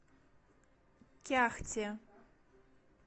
кяхте